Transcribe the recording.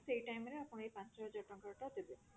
ସେଇ time ରେ ଆପଣ ଏଇ ପାଞ୍ଚ ହଜାର ଟଙ୍କାଟା ଦେବେ